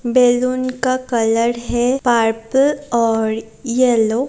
balloon का colour है purple और येलो --